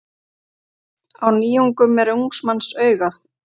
Á nýjungum er ungs manns augað.